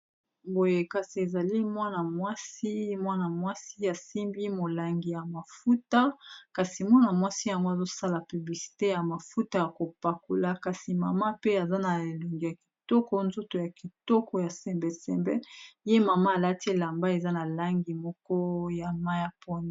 Boye kasi ezali mwana mwasi ye asimbi molangi ya mafuta, kasi mwana-mwasi yango azosala piblicite ya mafuta ya kopakula, kasi mama pe aza na elongi ya kitoko, nzoto ya kitoko ya sembesembe, ye mama alati elamba eza na langi moko ya mai ya pondu.